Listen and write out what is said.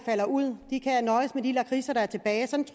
falder ud må nøjes med de lakridser der er tilbage sådan